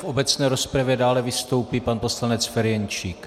V obecné rozpravě dále vystoupí pan poslanec Ferjenčík.